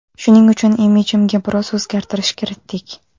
Shuning uchun imijimga biroz o‘zgartirish kiritdik.